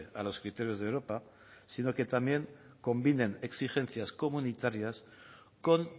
a los criterios de europa sino que también combinen exigencias comunitarias con